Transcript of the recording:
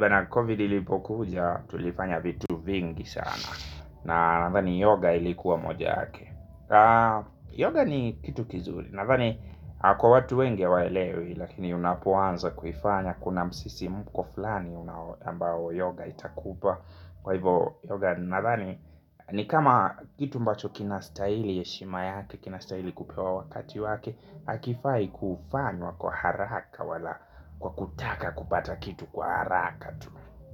Na COVID ilipokuja tulifanya vitu vingi sana. Na nandhani yoga ilikuwa moja ake Yoga ni kitu kizuri. Nandhani kwa watu wengi hawaelewi lakini unapoanza kufanya kuna msisimko fulani ambao yoga itakupa. Kwa hivo yoga nandhani ni kama kitu mbacho kina staili yeshima yake kina staili kupewa wakati wake hakifai kufanywa kwa haraka wala kwa kutaka kupata kitu kwa haraka.